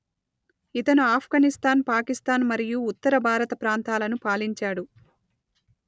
ఇతను ఆఫ్ఘనిస్తాన్ పాకిస్తాన్ మరియు ఉత్తర భారత ప్రాంతాలను పాలించాడు